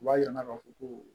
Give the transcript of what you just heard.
U b'a jira k'a fɔ ko